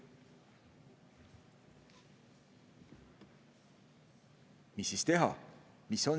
Mida siis teha?